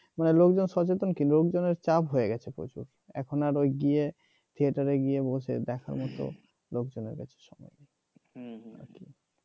মানে লোকজন সচেতন কি লোকজনের চাপ হয়ে গেছে প্রচুর এখন আর ওই গিয়ে theater গিয়ে বসে দেখার মত লোকজনের কাছে সময় নেই